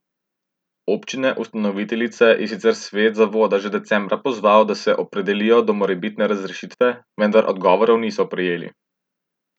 Občine ustanoviteljice je sicer svet zavoda že decembra pozval, da se opredelijo do morebitne razrešitve, vendar odgovorov niso prejeli.